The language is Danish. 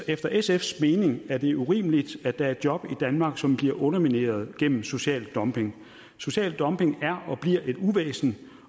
efter sfs mening er det urimeligt at der er job i danmark som bliver undermineret gennem social dumping social dumping er og bliver et uvæsen